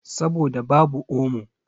Saboda babu omo.